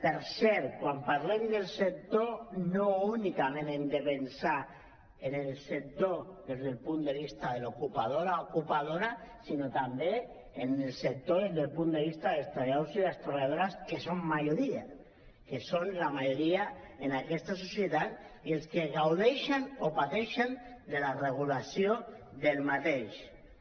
per cert quan parlem del sector no únicament hem de pensar en el sector des del punt de vista de l’ocupador o l’ocupadora sinó també en el sector des del punt de vista dels treballadors i les treballadores que són majoria que són la majoria en aquesta societat i els que gaudeixen o pateixen de la regulació d’aquest